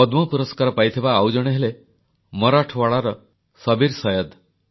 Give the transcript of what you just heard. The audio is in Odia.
ପଦ୍ମ ପୁରସ୍କାର ପାଇଥିବା ଆଉ ଜଣେ ହେଲେ ମରାଠୱାଡ଼ାର ସବୀର ସୈୟଦ୍